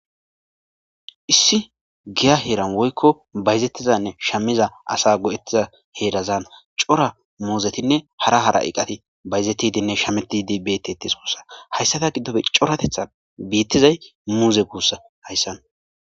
Issi giya heran woyiko bazetizanne shametida asa go,etida co,ra asa heran cora muzetinne bayizetidinne shametidi betees gusako hayisaka godoppe co,ra bithazayisi muze guzako hayisan